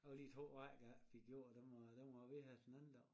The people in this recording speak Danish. Der var lige to rækker a ikke fik gjort dem var dem var a ved her den anden dag